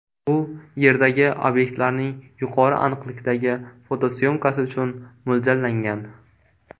U Yerdagi obyektlarning yuqori aniqlikdagi fotosyomkasi uchun mo‘ljallangan.